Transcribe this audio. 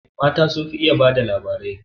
Mata sun fi iya ba da labari